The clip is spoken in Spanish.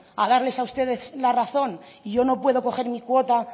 a darles a ustedes la razón y yo no puedo coger mi cuota